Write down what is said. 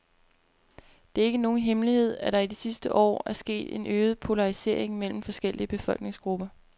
Det er ikke nogen hemmelighed, at der i de sidste år er sket en øget polarisering mellem forskellige befolkningsgrupper.